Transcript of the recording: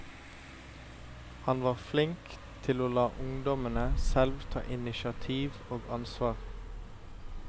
Han var flink til å la ungdommene selv ta initiativ og ansvar.